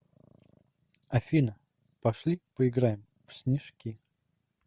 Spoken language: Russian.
афина пошли поиграем в снежки